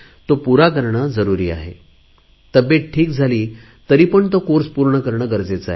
तो पुरा करणे जरुरी आहे तब्येत ठीक झाली तरी पण तो कोर्स पूर्ण करणे जरुरीचे आहे